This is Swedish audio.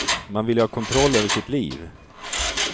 Man vill ju ha kontroll över sitt liv.